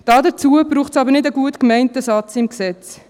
Dazu braucht es jedoch nicht einen gut gemeinten Satz im Gesetz.